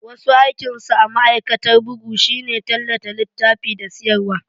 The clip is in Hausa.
Wasu aikinsu a ma'aikatar bugu shine tallata littafi da siyarwa.